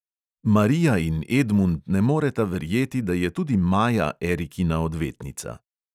Marija in edmund ne moreta verjeti, da je tudi maja erikina odvetnica.